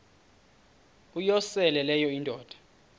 uyosele leyo indoda